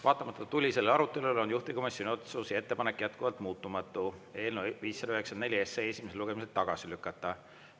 Vaatamata tulisele arutelule on juhtivkomisjoni otsus ja ettepanek on jätkuvalt muutumatu: eelnõu 594 esimesel lugemisel tagasi lükata.